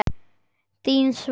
Þín, Svava.